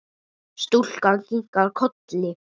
Stúlkan kinkar kolli.